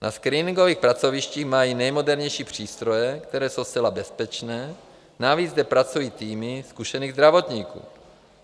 Na screeningových pracovištích mají nejmodernější přístroje, které jsou zcela bezpečné, navíc zde pracují týmy zkušených zdravotníků.